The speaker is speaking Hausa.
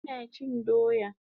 Ina chin doya